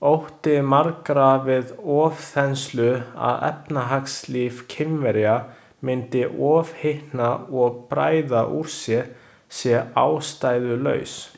Ótti margra við ofþenslu, að efnahagslíf Kínverja myndi ofhitna og bræða úr sér, sé ástæðulaus.